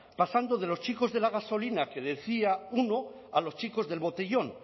pasando de los chicos de la gasolina que decía uno a los chicos del botellón